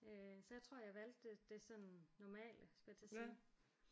Øh så jeg tror jeg valgte det det sådan normale skulle jeg til at sige